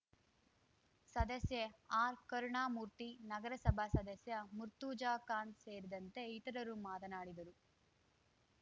ಸದಸ್ಯೆ ಆರ್‌ ಕರುಣಾಮೂರ್ತಿ ನಗರಸಭಾ ಸದಸ್ಯ ಮುರ್ತುಜಾಖಾನ್‌ ಸೇರಿದಂತೆ ಇತರರು ಮಾತನಾಡಿದರು